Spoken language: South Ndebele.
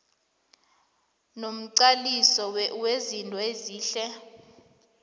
nomqaliso wezinto ezihle